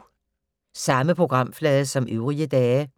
Samme programflade som øvrige dage